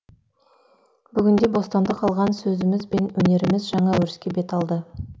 бүгінде бостандық алған сөзіміз бен өнеріміз жаңа өріске бет алды